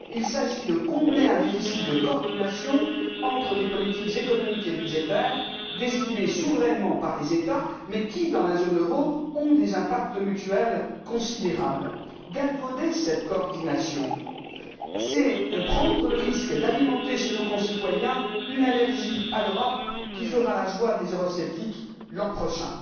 Il s'agit de combler un déficit de coordination entre les politiques économiques et budgétaires décidées souverainement par les États mais qui, dans la zone euro, ont des impacts mutuels considérables. Galvauder cette coordination, c'est prendre le risque d'alimenter chez nos concitoyens une allergie à l'Europe qui fera la joie des eurosceptiques l'an prochain.